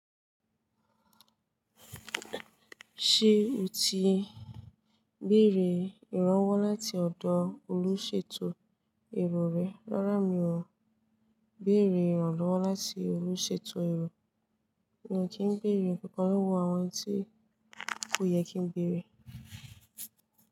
Ṣé o ti béèrè ìrànwọ́ láti ọ̀dọ̀ olùṣètò èrò rẹ? Rárá mi ò béèrè ìrànlọ́wọ́ láti olùṣètò èrò. Mo kì ń béèrè nkankan lọ́wọ́ àwọn enití kò yẹ kí n béèrè.